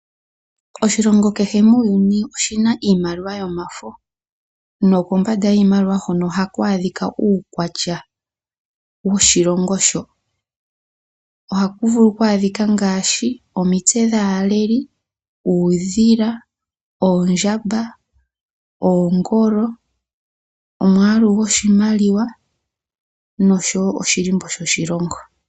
Oshilongo kehe muuyuni oshina iimaliwa yomafo, nokombanda yoshimaliwa hoka ohaku adhika uukwatya woshilongo shoka. Ohaku vulu oku adhikwa omitse dhaaleli, uudhila, oondjamba, oongolo, omwalu goshimaliwa nosho oshilimbo sho shilongo.